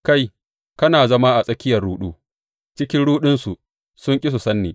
Kai kana zama a tsakiyar ruɗu; cikin ruɗunsu sun ƙi su san ni,